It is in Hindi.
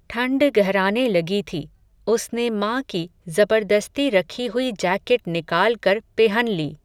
ठण्ड गहराने लगी थी, उसने मां की, ज़बरदस्ती रखी हुई जैकेट निकाल कर पेहन ली